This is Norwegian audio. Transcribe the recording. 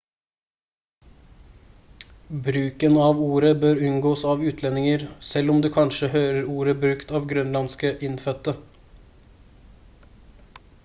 bruken av ordet bør unngås av utlendinger selv om du kanskje hører ordet brukt av grønlandske innfødte